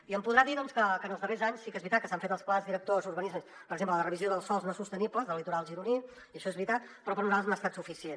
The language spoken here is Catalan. i em podrà dir que en els darrers anys sí que és veritat que s’han fet els plans directors urbanístics per exemple la revisió dels sòls no sostenibles del litoral gironí i això és veritat però per nosaltres no ha estat suficient